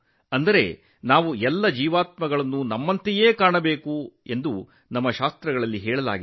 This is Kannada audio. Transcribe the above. ಅಂದರೆ ನಾವು ಜೀವಿಗಳನ್ನು ನಮ್ಮಂತೆಯೇ ಪರಿಗಣಿಸಬೇಕು ಮತ್ತು ಅದೇ ರೀತಿ ನಡೆಸಿಕೊಳ್ಳಬೇಕು